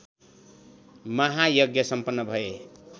महायज्ञ सम्पन्न भए